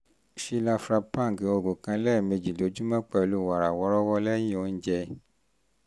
shilapravang oògùn kan lẹ́ẹ̀mejì lójúmọ́ pẹ̀lú wàrà wọ́ọ́rọ́wọ́ lẹ́yìn oúnjẹ